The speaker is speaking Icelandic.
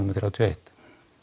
þrjátíu og eitt